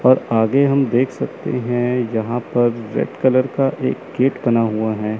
और आगे हम देख सकते है यहां पर रेड कलर का एक गेट बना हुआ है।